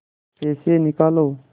पैसे निकालो